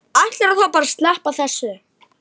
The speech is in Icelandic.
Ætlarðu þá bara að sleppa þessu?